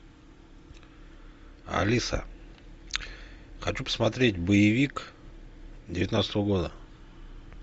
алиса хочу посмотреть боевик девятнадцатого года